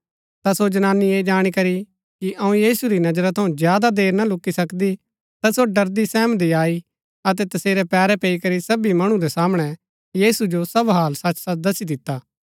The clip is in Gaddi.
ता सो जनानी ऐह जाणी करी कि अऊँ यीशु री नजरा थऊँ ज्यादा देर न लुक्‍की सकदी ता सो ड़रदीसैहमदी आई अतै तसेरै पैरै पैई करी सबी मणु रै सामणै यीशु जो सब हाल सचसच दसी दिता